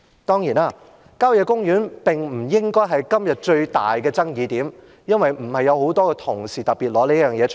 當然，郊野公園不應成為今天最大的爭議點，因為不是有很多同事特別就此事發言。